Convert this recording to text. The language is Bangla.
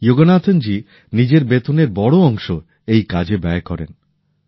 যোগনাথন জী নিজের বেতনের একটা বড় অংশ এই কাজে ব্যয় করেন